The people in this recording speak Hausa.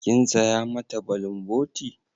Kin saya mata bulumboti?